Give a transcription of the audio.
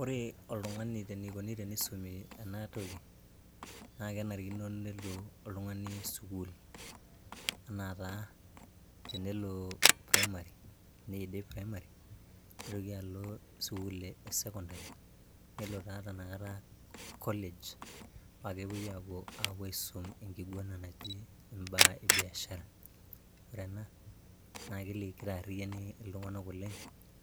Ore oltungani enikoni tenisumi ena toki naa kenarikino nelo oltungani sukuul ana taa tenelo primary ,nidip primary , nitoki alo sukuul e secondary nelo taa tanakata college, paa kepuoi aisum enkiguana naji imbaa e biashara . Ore ena naa kitaariani iltunganak oleng